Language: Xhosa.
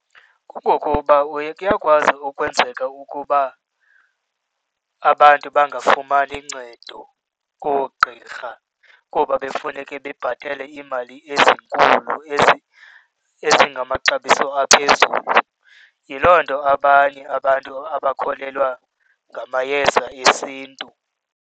Kungokuba kuyakwazi ukwenzeka ukuba abantu bangafumani ncedo koogqirha kuba bekufuneke bebhatele iimali ezinkulu ezingamaxabiso aphezulu. Yiloo nto abanye abantu abakholelwa ngamayeza esiNtu.